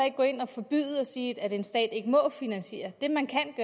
ikke gå ind og forbyde det og sige at en stat ikke må finansiere det man kan